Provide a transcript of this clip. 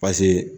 Paseke